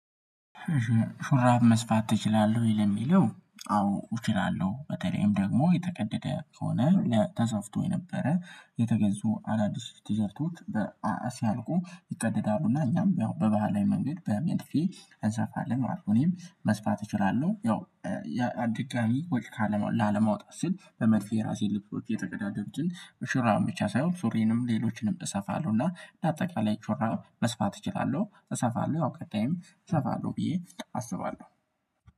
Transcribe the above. ሹራብ መስፋት ትችላለህ ወይ? ለሚለው አዎ እችላለሁ በተለይም ደግሞ የተቀደደ ከሆነ ተሰፍቶ የነበረ የተገዙ አዳዲስ ቲሸርቶች በ አ ሲያልቁ ይቀደዳሉና እኛም ያው በባህላዊ መንገድ በመድፌ እንሰፋለን ማለት ነው። እኔም መስፋት እችላለሁ። ያው ያ ድጋሚ ወጪ ካለ ላለማውጣት ስል በመድፌ ራሴን ልብሶች የተቀዳደዱትን ሹራብ ብቻ ሳይሆን ሱሪንም ሌሎችንም እሰፋለሁና። እንደ አጠቃላይ ሹራብ መስፋት እችላለሁ እሰፋለሁ አውቃለሁ እሰፋለሁ ብዬ አስባለሁ